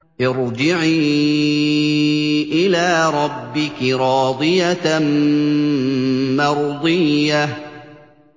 ارْجِعِي إِلَىٰ رَبِّكِ رَاضِيَةً مَّرْضِيَّةً